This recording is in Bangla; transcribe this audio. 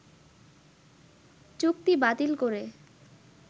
চুক্তি বাতিল করে